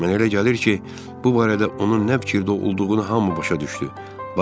Mənə elə gəlir ki, bu barədə onun nə fikirdə olduğunu hamı başa düşdü.